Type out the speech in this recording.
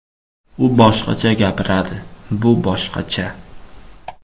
U boshqacha gapiradi, bu boshqacha.